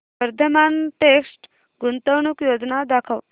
Vardhman text गुंतवणूक योजना दाखव